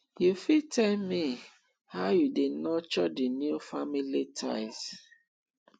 you fit tell me how you dey nurture di new family ties